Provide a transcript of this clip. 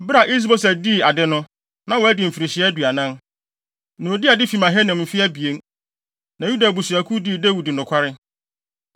Bere a Is-Boset dii ade no, na wadi mfirihyia aduanan, na odii ade fi Mahanaim mfe abien. Na Yuda abusuakuw no dii Dawid nokware.